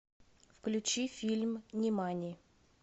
включи фильм нимани